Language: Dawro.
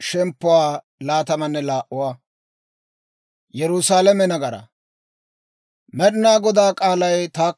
Med'inaa Godaa k'aalay taakko hawaadan yaagiidde yeedda;